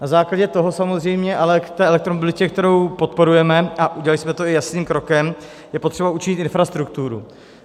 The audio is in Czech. Na základě toho samozřejmě ale k té elektromobilitě, kterou podporujeme, a udělali jsme to i jasným krokem, je potřeba učinit infrastrukturu.